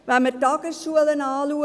Schauen wir die Tagesschulen an: